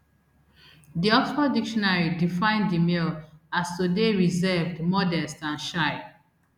di oxford dictionary define demure as to dey reserved modest and shy